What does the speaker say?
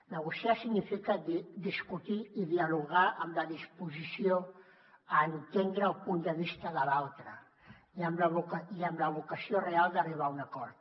negociar significa discutir i dialogar amb la disposició a entendre el punt de vista de l’altre i amb la vocació real d’arribar a un acord